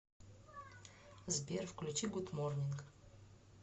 сбер включи гуд морнинг